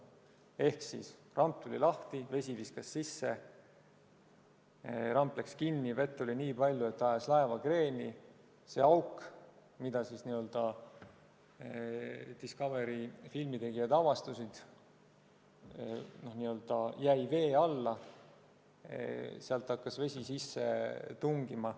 Ehk: ramp tuli lahti, vett viskas sisse, ramp läks kinni, vett oli tulnud nii palju, et see ajas laeva kreeni, see auk, mille Discovery filmitegijad avastasid, jäi vee alla, sealt hakkas vesi sisse tungima.